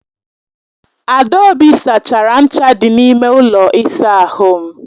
Adaobi sachara ncha dị n'ime ụlọ ịsa ahụ m.